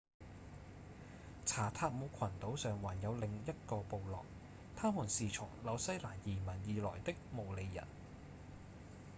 查塔姆群島上還有另一個部落他們是從紐西蘭移民而來的毛利人